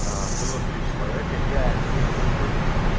было три человека я не курил